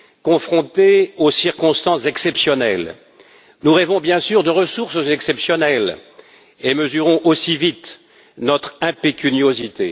Confrontés aux circonstances exceptionnelles, nous rêvons bien sûr de ressources exceptionnelles et mesurons aussi vite notre impécuniosité.